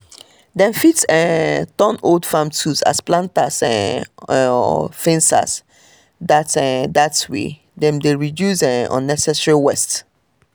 dem fit um turn old farm tools as planters um or fencers dat dat way dem dey reduce um unnecessary waste